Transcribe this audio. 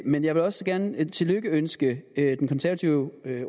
men jeg vil også gerne lykønske den konservative